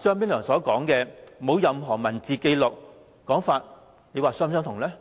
張炳良"沒有任何文字紀錄"的說法，又是否吻合？